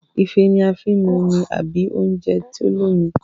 Ife ní a fín mú omí àbí oúnjẹ tó l'omi